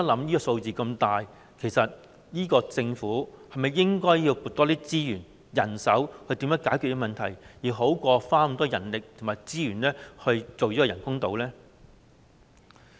我們想一想，這數字如此龐大，政府是否應該多撥資源、人手來解決這問題，而不是花那麼多人力和資源來興建人工島呢？